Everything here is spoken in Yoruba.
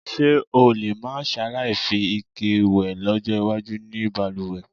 S̩e o lè má s̩aláì fi ike wè ló̩jó̩ iwájú ní balùwè̩?